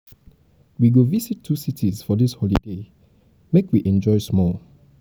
we go visit two cities for dis holiday make make we enjoy small.